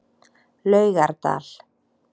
Laugardal